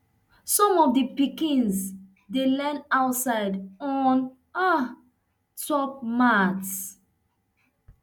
some of di pikins dey learn outside on um top mat